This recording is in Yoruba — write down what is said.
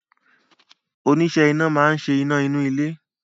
Oníṣẹ́ iná máa ń ṣe iná inú ilé